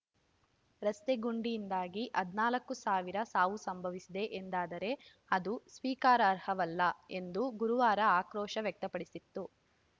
ರಸ್ತೆ ಗುಂಡಿಯಿಂದಾಗಿ ಹದಿನಾಲ್ಕು ಸಾವಿರ ಸಾವು ಸಂಭವಿಸಿವೆ ಎಂದಾದರೆ ಅದು ಸ್ವೀಕಾರಾರ್ಹವಲ್ಲ ಎಂದು ಗುರುವಾರ ಆಕ್ರೋಶ ವ್ಯಕ್ತಪಡಿಸಿತ್ತು